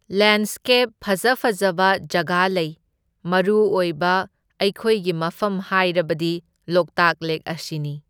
Landscape ꯐꯖ ꯐꯖꯕ ꯖꯒꯥ ꯂꯩ, ꯃꯔꯨꯑꯣꯏꯕ ꯑꯩꯈꯣꯏꯒꯤ ꯃꯐꯝ ꯍꯥꯏꯔꯕꯗꯤ ꯂꯣꯛꯇꯥꯛ ꯂꯦꯛ ꯑꯁꯤꯅꯤ꯫